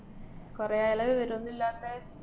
കുറേ ആയല്ലൊ വിവരോന്നുമില്ലാത്തെ?